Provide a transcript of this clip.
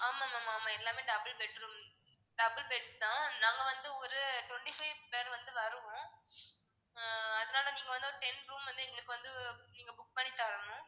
ஆமா ma'am ஆமா. எல்லாமே double bedroom double bed தான். நாங்க வந்து ஒரு twenty five பேர் வந்து வருவோம். அஹ் அதனால நீங்க வந்து ஒரு ten room வந்து எங்களுக்கு வந்து நீங்க book பண்ணி தரணும்.